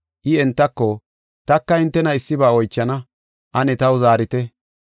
I entako, “Taka hintena issiba oychana, ane taw zaarite.